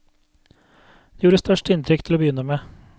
Det gjorde størst inntrykk til å begynne med.